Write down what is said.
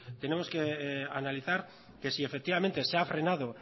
tenemos que analizar que sí efectivamente se ha frenado